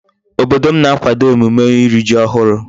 Obodo m na-akwado emume iri Ji ohuru